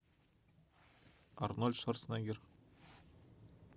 арнольд шварценеггер